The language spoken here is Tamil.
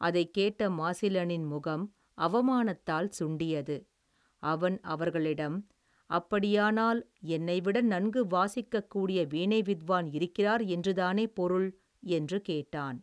அதைக் கேட்ட மாசிலனின் முகம், அவமானத்தால், சுண்டியது, அவன் அவர்களிடம், அப்படியானால் என்னை விட நன்கு வாசிக்கக் கூடிய வீணை வித்வான் இருக்கிறார், என்று தானே பொருள், என்று கேட்டான்.